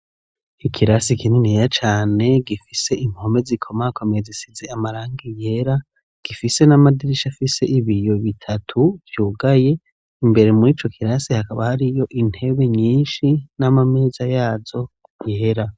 Ikirasi kininiya cane, gifise impome zikomakomeye, zisize amarangi yera, gifise n'amadirisha afise ibiyo bitatu, vyugaye; imbere muri ico kirasi, hakaba hariyo intebe nyinshi, n'amameza yazo yera.